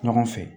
Ɲɔgɔn fɛ